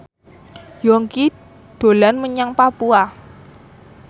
Yongki dolan menyang Papua